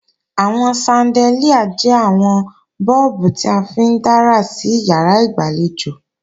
Àwọn ṣandelíà jẹ́ àwọn bọ́ọ̀bù tí a fi ń dára sí ìyàrá ìgbàlejò